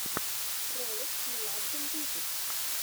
ролик меладзе мьюзик